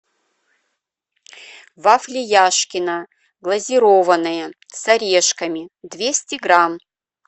вафли яшкино глазированные с орешками двести грамм